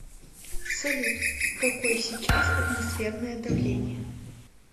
салют какой сейчас атмосферное давление